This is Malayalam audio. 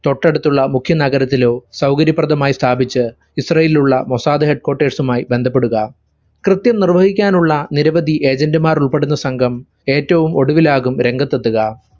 തൊട്ടടുത്തുള്ള മുഖ്യ നഗരത്തിലൊ സൗകര്യ പ്രദമായി സ്ഥാപിച് ഇസ്‌റാലിയിലുള്ള മൊസാദ് headquarters ഉമായി ബന്ധപ്പെടുക. കൃത്യം നിർവഹിക്കാനുള്ള നിരവധി agent മാരുൾപെടുന്ന സംഘം ഏറ്റവും ഒടുവിലാകും രംഗത്തെത്തുക.